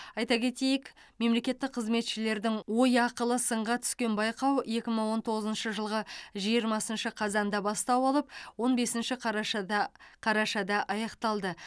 айта кетейік мемлекеттік қызметшілердің ой ақылы сынға түскен байқау екі мың он тоғызыншы жылғы жиырмасыншы қазанда бастау алып он бесінші қарашада қарашада аяқталды